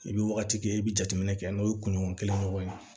I bɛ wagati kɛ i bɛ jateminɛ kɛ n'o ye kunɲɔgɔn kelen ɲɔgɔn ye